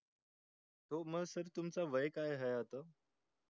खूप मस्त तुमचं वय काय आहे असं